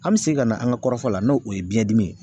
An mi segin ka na an ka kɔrɔfɔ la, n'o o ye biyɛn dimi ye